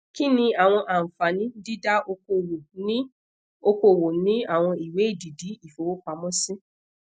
kini awọn anfani dida okoowo ni okoowo ni awọn iwe edidi ifowopamọsi